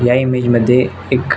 या इमेज मध्ये एक--